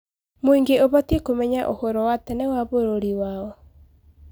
Mũingĩ ũbatiĩ kũmenya ũhorro wa tene wa bũrũri wao.